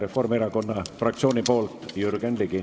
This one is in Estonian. Reformierakonna fraktsiooni nimel Jürgen Ligi.